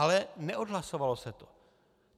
Ale neodhlasovalo se to.